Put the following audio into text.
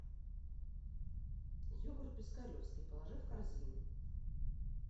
йогурт пискаревский положи в корзину